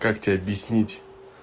как тебе объяснить